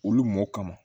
Olu mɔ kama